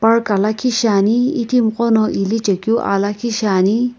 park ka lakhi shaeni itimi gho no ilichae keu aa liikhi shaeni.